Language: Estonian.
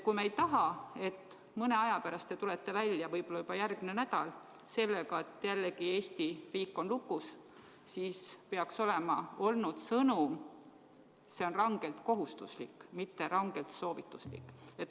Kui me ei taha, et mõne aja pärast, võib-olla juba järgmine nädal te tulete välja sellega, et Eesti riik on jälle lukus, siis peaks olema antud sõnum: see on rangelt kohustuslik, mitte rangelt soovituslik.